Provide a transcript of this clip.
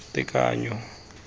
tekanyo